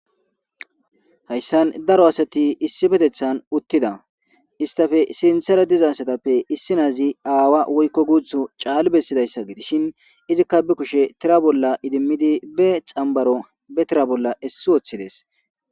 hayssan daro asati issi petethan uttida istafe sinthera dizasatappe issi naazi aawa woykko guuthu caal bessidayssa gidishin izikka bi kushe tira bolla idimmidi be xambaro be tira bolla essi wooththides